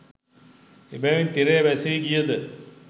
එබැවින් තිරය වැසී ගියද